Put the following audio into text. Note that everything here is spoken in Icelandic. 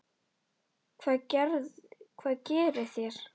Hvað gerið þér?